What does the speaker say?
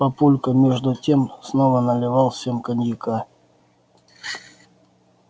папулька между тем снова налил всем коньяка